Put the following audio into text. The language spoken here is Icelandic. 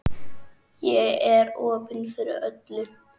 Ég er opin fyrir öllu.